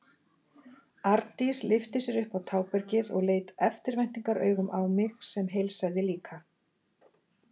Arndís lyfti sér upp á tábergið og leit eftirvæntingaraugum á mig sem heilsaði líka.